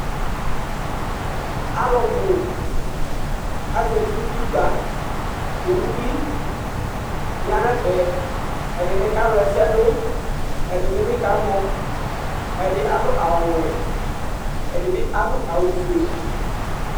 Alu bu aza nu utɩkpa Awu bɩ ya nɛfɛ, ɛɖɩnɩ ka wla ɛsɛ ɖu Ɛɖɩnɩ bɩ kamɔ Ɛɖɩ aɖu awu ɔwɛ, ɛɖɩnɩ bɩ aɖu awu foe